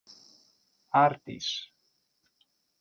Ardís